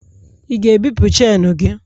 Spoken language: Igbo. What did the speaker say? ị ga-ebipụ chenu gị?